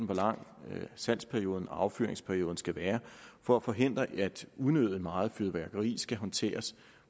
hvor lang salgsperioden og affyringsperioden skal være for at forhindre at unødig meget fyrværkeri skal håndteres